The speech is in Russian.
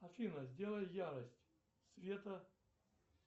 афина сделай ярость света